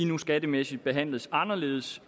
nu skattemæssigt behandles anderledes